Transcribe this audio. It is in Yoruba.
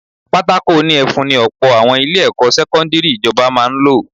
Pátákó òní ẹfun ni ọ̀pọ̀ àwọn ilé-ẹ̀kọ́ sẹ́kọ́ndírì ìjọba máa ń lò